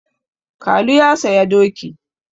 Kalu ya saya doki.